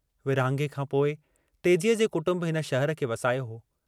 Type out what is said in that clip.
विरहाङे खां पोइ तेजीअ जे कुटम्ब हिन शहर खे वसायो हो।